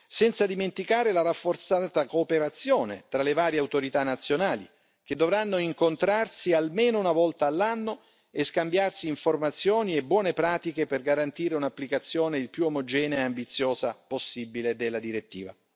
senza dimenticare la rafforzata cooperazione tra le varie autorità nazionali che dovranno incontrarsi almeno una volta all'anno e scambiarsi informazioni e buone pratiche per garantire un'applicazione il più omogenea e ambiziosa possibile della direttiva.